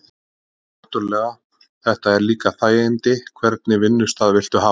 Þetta er náttúrulega. þetta eru líka þægindi, hvernig vinnustað viltu hafa?